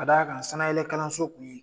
Ka d'a ka sanayɛlɛ kalanso kun ye